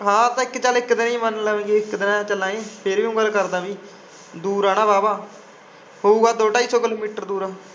ਹਾਂ ਤਾ ਚਲ ਇਕ ਦਿਨ ਹੀ ਮਨ ਲੈ ਨੇ ਜੇ ਇਕ ਦਿਨ ਚਲਾਂਗੇ ਤੇਰਿਆ ਹੀ ਗੱਲ ਕਰਦਾ ਬਾਯੀ ਦੂਰ ਆ ਨਾ ਵਾਹਵਾ ਪਾਊਗਾ ਦੋ ਧਾਯੀ ਸੋ ਕਿਲੋਮੀਟਰ ਦੂਰ।